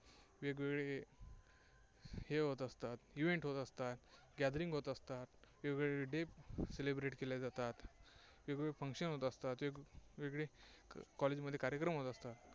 वेगवेगळे खेळ होत असतात. event होत असतात. gathering होत असतात. वेगवेगळे days celebrate केले जातात. वेगवेगळे function होत असतात, वेगवेगळे college मध्ये कार्यक्रम होत असतात.